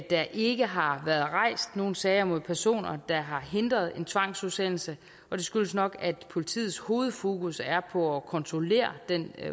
der ikke har været rejst nogen sager mod personer der har hindret en tvangsudsendelse og det skyldes nok at politiets hovedfokus er på at kontrollere den